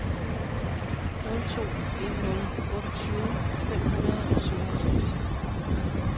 nul to en nul otteogtyve fem hundrede og syvoghalvtreds